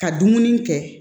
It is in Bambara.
Ka dumuni kɛ